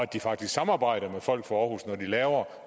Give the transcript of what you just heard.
de faktisk samarbejder med folk fra aarhus når de laver